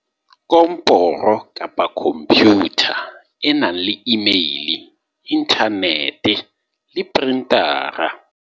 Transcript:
Komporo-Computer e nang le emaile, inthanete le printara